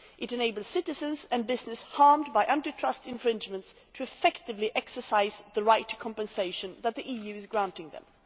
It enables citizens and businesses harmed by anti trust infringements to effectively exercise the right to compensation that the EU is granting them.